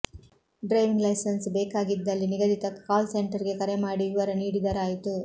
driving licence ಬೇಕಾಗಿ ದ್ದಲ್ಲಿ ನಿಗದಿತ ಕಾಲ್ಸೆಂಟರ್ ಗೆ ಕರೆ ಮಾಡಿ ವಿವರ ನೀಡಿದರಾಯಿತು